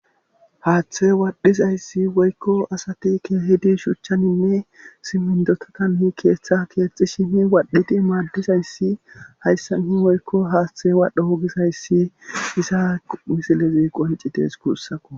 Haththe wadhizayssi woykko asati keehidi shuchchaninne simmindotatan hi keeththa keexxi shini waadhiti maaddizayssi hayssa ni woykko haaththe waadho wogisayssi isa misilezi qoncites kuussako